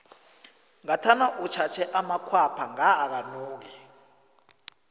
ngathana utjhatjhe amakhwapha nga akanuki